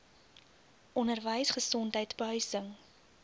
onderwys gesondheid behuising